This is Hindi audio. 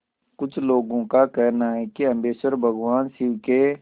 कुछ लोगों को कहना है कि अम्बकेश्वर भगवान शिव के